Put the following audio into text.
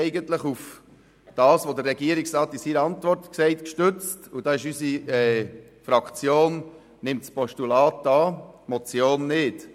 Wir haben uns auf das gestützt, was der Regierungsrat in seiner Antwort sagt, und daher nimmt unsere Fraktion das Postulat an, die Motion aber nicht.